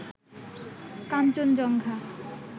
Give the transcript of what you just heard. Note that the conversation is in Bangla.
কাঞ্চনজঙ্ঘা